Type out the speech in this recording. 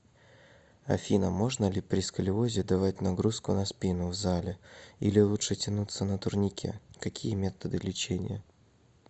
афина можно ли при сколиозе давать нагрузку на спину в зале или лучше тянуться на турникекакие методы лечения